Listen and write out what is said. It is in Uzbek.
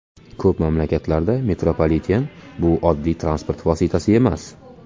Ko‘p mamlakatlarda metropoliten bu oddiy transport vositasi emas.